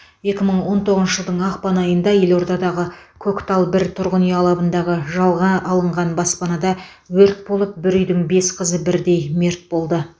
екі мың он тоғызыншы жылдың ақпан айында елордадағы көктал бір тұрғын үй алабындағы жалға алынған баспанада өрт болып бір үйдің бес қызы бірдей мерт болды